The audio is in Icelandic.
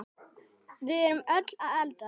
Við erum öll að eldast.